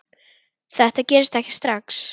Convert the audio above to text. Þetta gerist ekki strax.